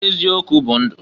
Eziokwu bụ ndu.